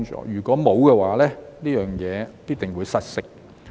如果沒有，這件事必定會失色。